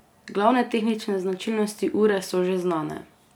Glavne tehnične značilnosti ure so že znane.